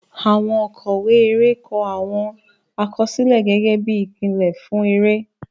Àwọn òkọ̀wé eré kọ àwọn àkọsílẹ̀ gẹ́gẹ́ bí ìpìlẹ̀ fún eré.